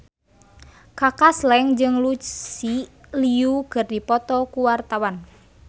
Kaka Slank jeung Lucy Liu keur dipoto ku wartawan